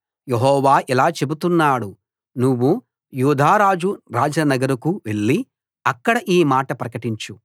యెహోవా ఇలా చెబుతున్నాడు నువ్వు యూదా రాజు రాజనగరుకు వెళ్లి అక్కడ ఈ మాట ప్రకటించు